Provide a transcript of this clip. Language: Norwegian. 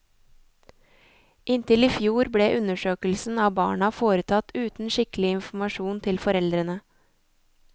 Inntil i fjor ble undersøkelsen av barna foretatt uten skikkelig informasjon til foreldrene.